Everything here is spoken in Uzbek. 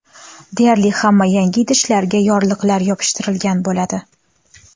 Deyarli hamma yangi idishlarga yorliqlar yopishtirilgan bo‘ladi.